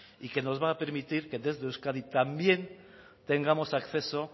y que nos va a permitir que desde euskadi también tengamos acceso